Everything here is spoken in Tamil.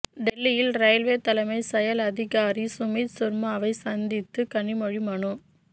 டெல்லியில் ரயில்வே தலைமை செயல் அதிகாரி சுமித் சர்மாவை சந்தித்து கனிமொழி மனு